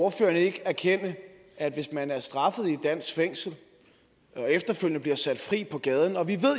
ordføreren ikke erkende at hvis man er straffet i et dansk fængsel og efterfølgende bliver sat fri på gaden og vi